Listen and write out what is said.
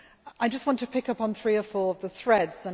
I just want to pick up on three or four of the threads.